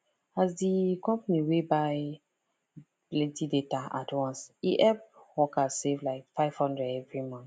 as the company wey buy plenty data at once e help workers save like 500 every month